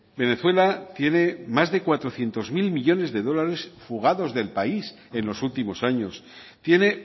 venezuela tiene más de cuatrocientos mil millónes de dólares fugados del país es los últimos años tiene